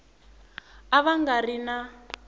a va nga ri na